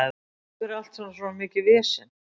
Af hverju er allt svona mikið vesen?